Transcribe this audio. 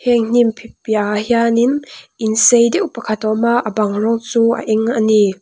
hmin hnimp piahah hianin in sei deuh pakhat a awm a a bang rawng chu a eng a ni.